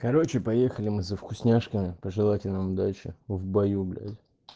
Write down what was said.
короче поехали мы за вкусняшками пожелайте нам удачи в бою блять